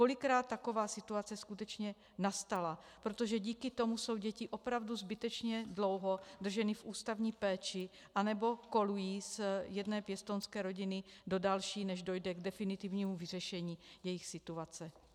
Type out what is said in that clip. Kolikrát taková situace skutečně nastala, protože díky tomu jsou děti opravdu zbytečně dlouho drženy v ústavní péči anebo kolují z jedné pěstounské rodiny do další, než dojde k definitivnímu vyřešení jejich situace.